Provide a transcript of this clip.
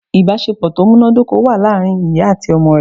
Ìbásepọ̀ tó múnádóko wà láàrin ìyá àti ọmọ rẹ̀